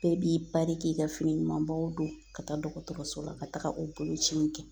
Bɛɛ b'i pari k'i ka fini ɲumanbɔ ka taa dɔgɔtɔrɔso la ka taga o boloci in kɛ